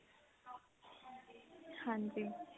ਹਾਂਜੀ